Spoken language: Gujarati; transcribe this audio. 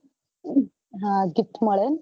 હા gift મળે એમ